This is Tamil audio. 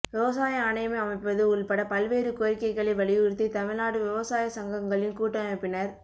விவசாய ஆணையம் அமைப்பது உள்பட பல்வேறு கோரிக்கைகளை வலியுறுத்தி தமிழ்நாடு விவசாய சங்கங்களின் கூட்டமைப்பினர்